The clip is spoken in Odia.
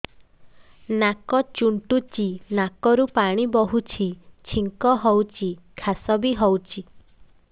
ନାକ ଚୁଣ୍ଟୁଚି ନାକରୁ ପାଣି ବହୁଛି ଛିଙ୍କ ହଉଚି ଖାସ ବି ହଉଚି